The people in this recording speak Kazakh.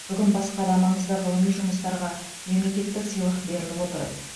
бүгін басқа да маңызды ғылыми жұмыстарға мемлекеттік сыйлық беріліп отыр